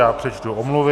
Já přečtu omluvy.